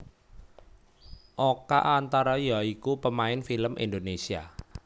Oka antara ya iku pemain film Indonésia